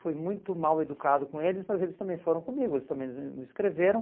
Fui muito mal educado com eles, mas eles também foram comigo, eles também não me escreveram.